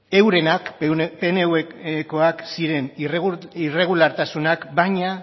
eurenak pnvkoak ziren irregulartasunak baina